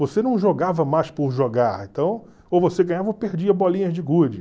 Você não jogava mais por jogar, então, ou você ganhava ou perdia bolinhas de gude.